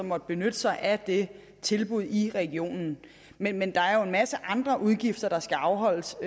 måtte benytte sig af det tilbud i regionen men men der er jo en masse andre udgifter der skal afholdes